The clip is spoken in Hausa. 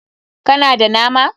Ka na da nama?